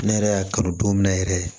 Ne yɛrɛ y'a kanu don min na yɛrɛ